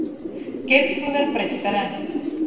Geirþrúðar breikkar enn.